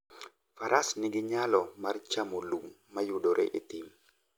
Faras nigi nyalo mar chamo lum mayudore e thim.